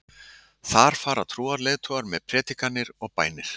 Þar fara trúarleiðtogar með predikanir og bænir.